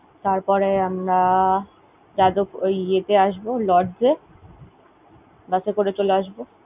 তারপরে আমরা যাদব~ ওই ইয়ে তে আসব, Lords এ। Bus এ করে ছলে আসব।